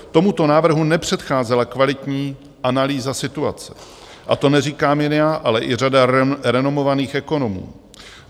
Tomuto návrhu nepředcházela kvalitní analýza situace, a to neříkám jen já, ale i řada renomovaných ekonomů.